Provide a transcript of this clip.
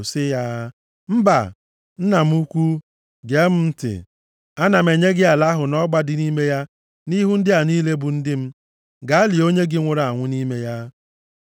sị ya, “Mba! Nna m ukwu, gee m ntị. Ana m enye gị ala ahụ na ọgba dị nʼime ya nʼihu ndị a niile bụ ndị m. Gaa lie onye gị nwụrụ anwụ nʼime ya.”